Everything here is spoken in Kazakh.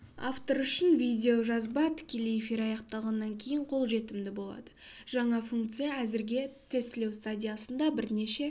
автор үшін видеожазба тікелей эфир аяқталғаннан кейін қолжетімді болады жаңа функция әзірге тестілеу стадиясында бірнеше